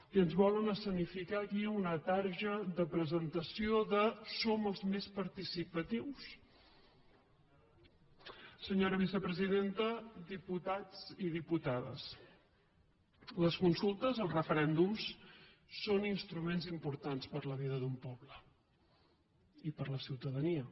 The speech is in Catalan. i ens volen escenificar aquí una targeta de presentació de som rels més participatius senyora vicepresidenta diputats i diputades les consultes els referèndums són instruments importants per a la vida d’un poble i per a la ciutadania